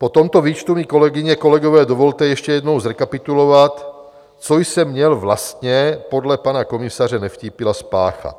Po tomto výčtu mi, kolegyně, kolegové, dovolte ještě jednou zrekapitulovat, co jsem měl vlastně podle pana komisaře Nevtípila spáchat.